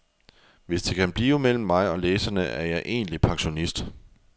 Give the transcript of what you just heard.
Hvis det kan blive mellem mig og læserne er jeg egentlig pensionist.